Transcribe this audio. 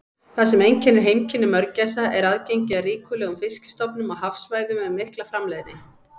Það sem einkennir heimkynni mörgæsa er aðgengi að ríkulegum fiskistofnum á hafsvæðum með mikla framleiðni.